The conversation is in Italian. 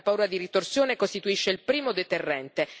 La paura di ritorsione costituisce il primo deterrente.